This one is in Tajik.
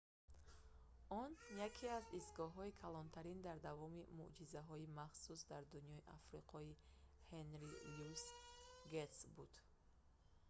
он яке аз истгоҳҳои калонтарин дар давоми муъҷизаҳои махсус дар дунёи африқои ҳенри люис гэйтс буд